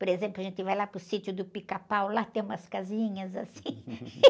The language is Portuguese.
Por exemplo, a gente vai lá para o sítio do pica-pau, lá tem umas casinhas, assim.